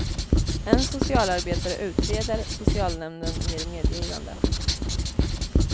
En socialarbetare utreder, socialnämnden ger medgivande.